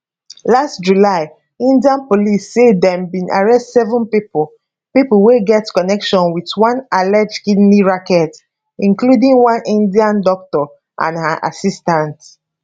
last july india police say dem bin arrest seven pipo pipo wey get connection wit one alleged kidney racket including one india doctor and her assistant